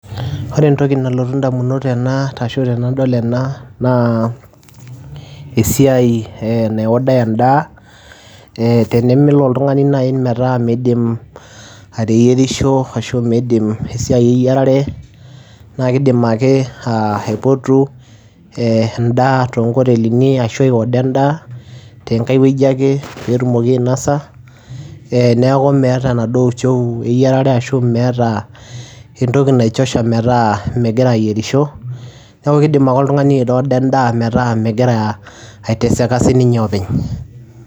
Ore entoki nalotu ndamunot tena ashu tenadol ena naa esiai enaiodai endaa ee tenemelo oltung'ani nai metaa miidim ateyierisho ashu miidim esiai eyiarare, naake iidim ake aa aipotu ee endaa too nkotelini ashu aiorder endaa tenkai wueji ake peetumoki ainosa ee neeku meeta enaduo uchovu eyiarare ashu meeta entoki nichosha metaa megira ayierisho. Neeku kiiidim ake oltung'ani aiorder endaa metaa megira aiteseka sininye openy.